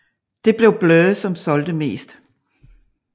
Det blev Blur som solgte mest